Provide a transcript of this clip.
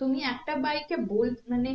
তুমি একটা bike এ বল মানে